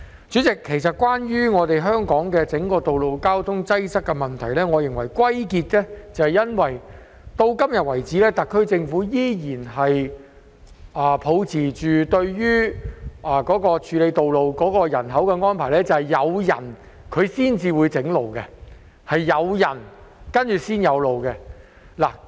主席，關於香港道路交通擠塞的問題，我認為歸因於特區政府對於處理道路的安排，時至今日依然是抱持着"有人才會建路"的態度。